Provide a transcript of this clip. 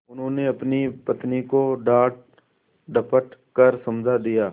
उन्होंने अपनी पत्नी को डाँटडपट कर समझा दिया